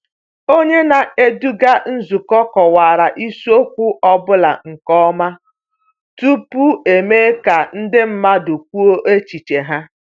Onye na-eduga nzukọ kọwara isiokwu ọ bụla nke ọma tupu emee ka ndị mmadụ kwuo echiche ha.